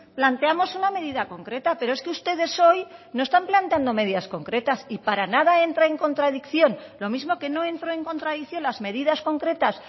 planteamos una medida concreta pero es que ustedes hoy no están planteando medidas concretas y para nada entra en contradicción lo mismo que no entro en contradicción las medidas concretas